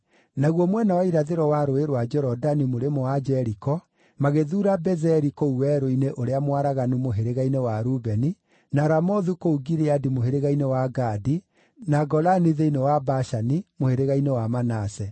Naguo mwena wa irathĩro wa Rũũĩ rwa Jorodani mũrĩmo wa Jeriko magĩthuura Bezeri kũu werũ-inĩ ũrĩa mwaraganu mũhĩrĩga-inĩ wa Rubeni, na Ramothu kũu Gileadi mũhĩrĩga-inĩ wa Gadi, na Golani thĩinĩ wa Bashani mũhĩrĩga-inĩ wa Manase.